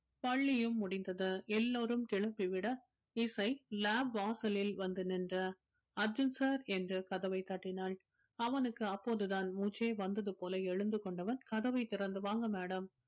பள்ளியும் முடிந்தது எல்லாரும் கிளம்பி விட இசை lab வாசலில் வந்து நின்ற அர்ஜுன் sir என்று கதவைத் தட்டினாள் அவனுக்கு அப்போதுதான் மூச்சே வந்தது போல எழுந்து கொண்டவன் கதவைத் திறந்து வாங்க madam